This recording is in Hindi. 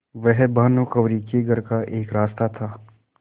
वह भानुकुँवरि के घर का एक रास्ता था